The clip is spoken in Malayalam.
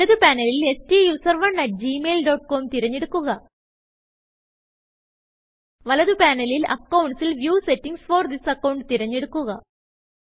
ഇടത് പാനലിൽ STUSERONEgmail ഡോട്ട് കോം തിരഞ്ഞെടുക്കുക വലത് പാനലിൽ അക്കൌണ്ട്സ് ൽ വ്യൂ സെറ്റിംഗ്സ് ഫോർ തിസ് accountതിരഞ്ഞെടുക്കുക